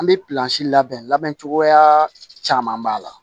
An bɛ pilansi labɛn labɛn cogoya caman b'a la